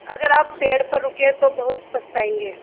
अगर आप पेड़ पर रुके रहे तो बहुत पछताएँगे